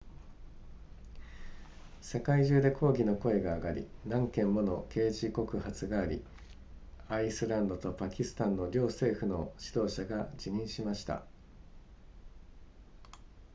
世界中で抗議の声が上がり何件もの刑事告発がありアイスランドとパキスタンの両政府の指導者が辞任しました